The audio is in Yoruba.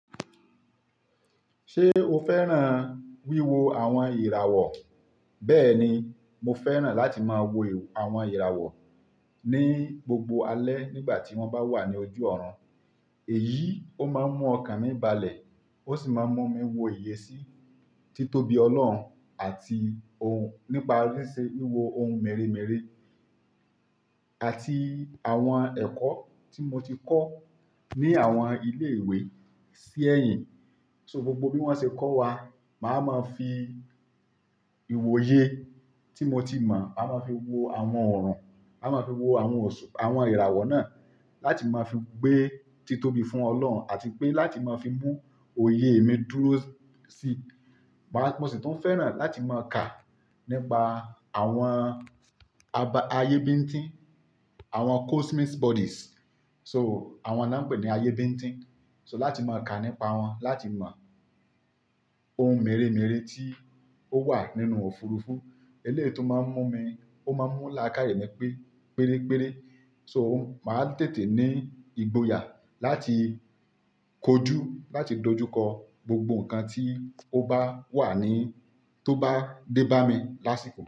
Ṣé o fẹ́ràn wíwo àwọn ìràwọ̀? Bẹ́ẹ̀ni, mo fẹ́ràn láti máa wo àwọn ìràwọ̀ ní gbogbo alẹ́ nígbà tí wọ́n bá wà ní ojú ọ̀run. Èyí ó máa ń mú ọkàn mi balẹ̀, ó sì máa ń mú mi wo iyè sí títóbi Ọlọ́run àti ohun nípa lísẹ̀ wíwo ohun mèremère àti àwọn ẹ̀kọ́ tí mo ti kọ́ ní àwọn ilé ìwé sí ẹ̀yìn. So gbogbo bí wọ́n ṣe kọ́ wa, màá máa fi ìwòye tí mo ti mọ̀, a máa fi wo àwọn ọ̀run, a máa fi wo àwọn ọ̀sù-- àwọn ìràwọ̀ náà láti máa fi gbé títóbi fún Ọlọ́run àti pé láti máa fi mú òye mi dúró sí. Màá-- mo sì tún fẹ́ràn láti máa kà nípa àwọn aba-- ayébíntín, àwọn cosmic bodies. So àwọn náà ń pè ní ayébíntín. So láti máa kà nípa wọn, láti mọ ohun mèremère tí ó wà nínú òfurufú. Eléyìí tó máa ń mú mi, ó máa ń mú làákàyè mi pé péréré. So màá tètè ní ìgboyà láti kojú, láti dojúkọ gbogbo nǹkan tí ó bá wà ní, tó bá dé bá mi lásìkò.